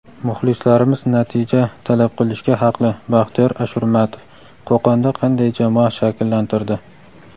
"Muxlislarimiz natija talab qilishga haqli" – Baxtiyor Ashurmatov Qo‘qonda qanday jamoa shakllantirdi?.